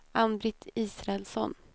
Ann-Britt Israelsson